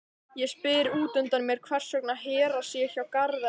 Ég spyr útundan mér hvers vegna Hera sé hjá Garðari.